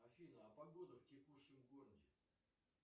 афина а погода в текущем городе